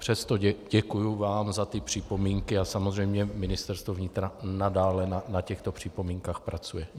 Přesto děkuji vám za ty připomínky a samozřejmě Ministerstvo vnitra nadále na těchto připomínkách pracuje.